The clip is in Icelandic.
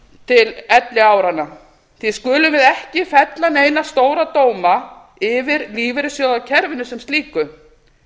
til elliáranna því skulum við ekki fella neina stóra dóma yfir lífeyrissjóðakerfinu sem slíku